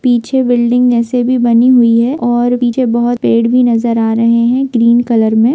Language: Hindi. पीछे ब्लीडिंग जैसे भी बनी हुई है और पीछे बहुत पेड़ भी नजर आ रहे है ग्रीन कलर में ।